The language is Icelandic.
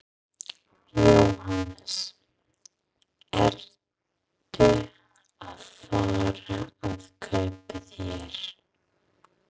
Jóhannes: Ertu að fara að kaupa þér?